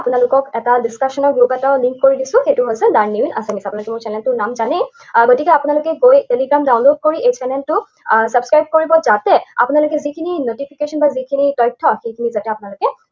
আপোনালোকক এটা discussion ৰ group এটাৰো link কৰি দিছোঁ, সেইটো হৈছে লাৰ্নিং ইন আসামিজ, আপোনালোকে channel টোৰ নাম জানেই। আহ গতিকে আপোনালোকে গৈ Telegram download কৰি এই channel টো আহ subscribe কৰিব যাতে, আপোনালোকে যিখিনি notification বা যিখিনি তথ্য, সেইখিনি যাতে আপোনালোকে